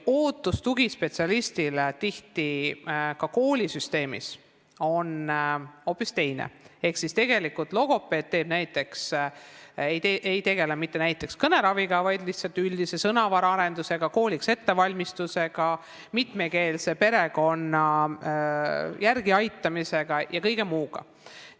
Tugispetsialistilt oodatakse tihti ka koolisüsteemis hoopis muud ehk tegelikult logopeed ei tegele mitte näiteks kõneraviga, vaid üldise sõnavara arendusega, kooliks ettevalmistusega, mitmekeelsest perekonnast pärit lapse järeleaitamisega ja kõige muu sellisega.